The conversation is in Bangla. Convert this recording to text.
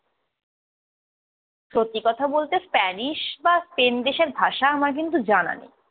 সত্যি কথা বলতে স্প্যানীশ বা স্পেন দেশের ভাষা আমার কিন্তু জানা নেই।